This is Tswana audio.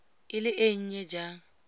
e le e nnye jang